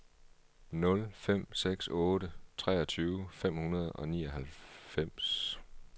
nul fem seks otte treogtyve fem hundrede og nioghalvfems